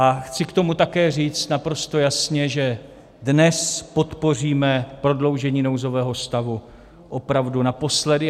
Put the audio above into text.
A chci k tomu také říct naprosto jasně, že dnes podpoříme prodloužení nouzového stavu opravdu naposledy.